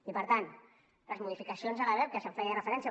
i per tant les modificacions a la lebep que s’hi feia referència